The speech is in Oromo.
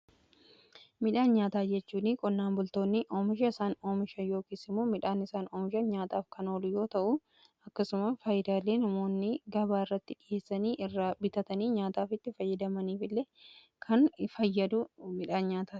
Midhaan nyaataa jechuun qonnaan bultoonni oomisha isaan oomisha yookiis immoo midhaan isaan oomisha nyaataaf kan oolu yoo ta'u, akkasumas faayidaalee namoonni gabaa irratti dhiheessanii irraa bitatanii nyaataaf itti fayyadamaniif illee kan fayyadu midhaan nyaataati.